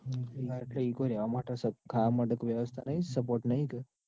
એટલે ત્યાં ઈ કોઈ રેવા માટે ત્યાં ખાવા માટે વ્યવસ્થા નઈ સગવડ નઈ